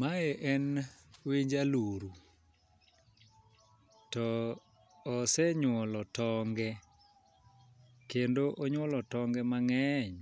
Mae en winj aluro, to osenyuolo tonge. Kendo onyuolo tonge mang'eny.